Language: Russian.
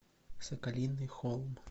соколиный холм